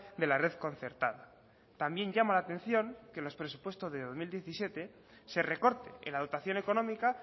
de la red concertada también llama la atención que los presupuestos de dos mil diecisiete se recorte en la dotación económica